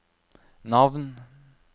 navn